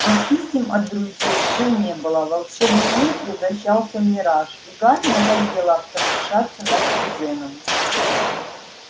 но писем от друзей всё не было волшебный мир превращался в мираж и гарри надоело потешаться над кузеном